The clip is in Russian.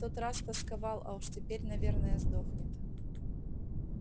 в тот раз тосковал а уж теперь наверное сдохнет